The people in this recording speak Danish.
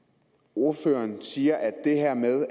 ordføreren siger